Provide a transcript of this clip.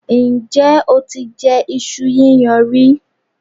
Ǹjẹ́ o ti jẹ iṣu yíyan rí?